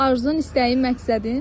Arzun, istəyin, məqsədin?